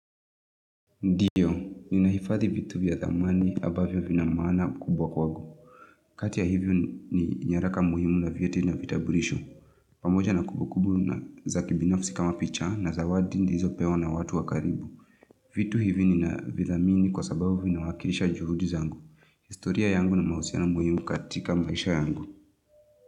Ndiyo nina hifadhi vitu vyathamani abavyo vina maana kubwa kwangu kati ya hivyo ni nyaraka muhimu na vyeti na vitaburishu. Pamoja na kubu kubu na za kibinafsi kama picha na zawadi nilizopewa na watu wakaribu vitu hivi nina vizamini kwasababu vina wakirisha juhudi zangu historia yangu na mahusiano muhimu katika maisha yangu.